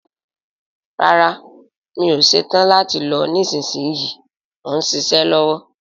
Rárá, mi ò ṣetán láti lọ nísinsìnyí, mò ń ṣiṣẹ́ lọ́wọ́